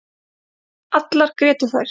Allar grétu þær.